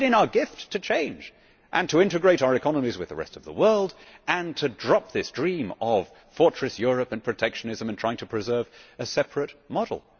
We have it in our gift to change and to integrate our economies with the rest of the world, to drop this dream of fortress Europe and protectionism and trying to preserve a separate model.